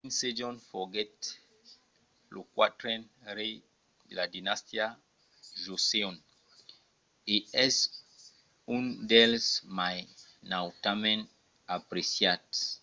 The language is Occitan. king sejong foguèt lo quatren rei de la dinastia joseon e es un dels mai nautament apreciats